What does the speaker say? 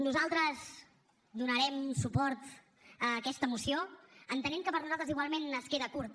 nosaltres donarem un suport a aquesta moció entenent que per nosaltres igualment es queda curta